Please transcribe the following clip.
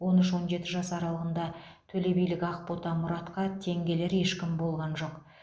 он үш он жеті жас аралығында төлебилік ақбота мұратқа тең келер ешкім болған жоқ